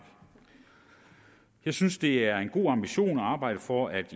jeg synes det er en god ambition at arbejde for at